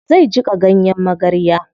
Zai jiƙa ganyen magarya.